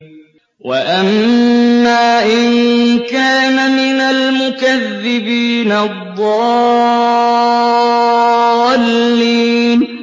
وَأَمَّا إِن كَانَ مِنَ الْمُكَذِّبِينَ الضَّالِّينَ